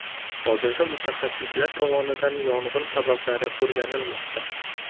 Hozirda mutaxassislar tomonidan yong‘in sabablari o‘rganilmoqda.